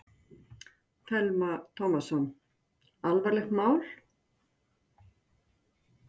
Telma Tómasson: Alvarlegt mál?